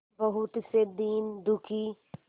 बहुत से दीन दुखी